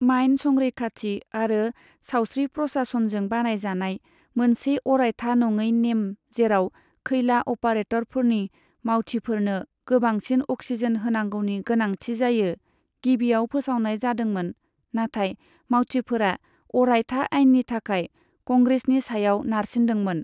Mine संरैखाथि आरो सावस्रि प्रशासनजों बानायजानाय मोनसे अरायथा नङै नेम, जेराव खैला अपारेटरफोरनि मावथिफोरनो गोबांसिन अक्सिजेन होनांगौनि गोनांथि जायो, गिबियाव फोसावनाय जादोंमोन, नाथाय मावथिफोरा अरायथा आइननि थाखाय कंग्रेसनि सायाव नारसिन्दोंमोन।